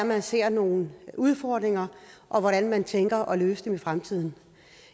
man ser nogle udfordringer og hvordan man tænker at løse dem i fremtiden